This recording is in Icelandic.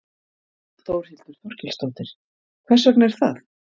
Þórhildur Þorkelsdóttir: Hvers vegna er það?